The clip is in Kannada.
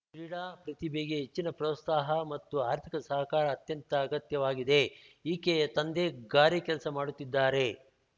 ಕ್ರೀಡಾ ಪ್ರತಿಭೆಗೆ ಹೆಚ್ಚಿನ ಪ್ರೋತ್ಸಾಹ ಮತ್ತು ಆರ್ಥಿಕ ಸಹಕಾರ ಅತ್ಯಂತ ಅಗತ್ಯವಾಗಿದೆ ಈಕೆಯ ತಂದೆ ಗಾರೆ ಕೆಲಸ ಮಾಡುತ್ತಿದ್ದಾರೆ